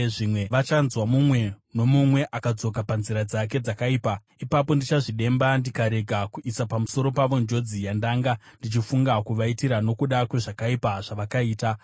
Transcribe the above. Zvimwe vachanzwa mumwe nomumwe akadzoka panzira dzake dzakaipa. Ipapo ndichazvidemba ndikarega kuisa pamusoro pavo njodzi yandanga ndichifunga kuvaitira nokuda kwezvakaipa zvavakaita.